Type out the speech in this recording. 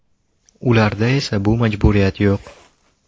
Ularda esa bu majburiyat yo‘q.